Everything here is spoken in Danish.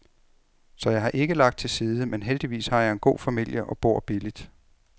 Så jeg har ikke lagt til side, men heldigvis har jeg en god familie og bor billigt.